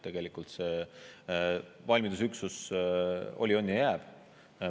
Tegelikult see valmidusüksus oli, on ja jääb.